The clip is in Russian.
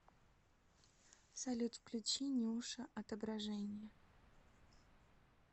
салют включи нюша отображенье